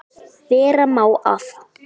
Vera má að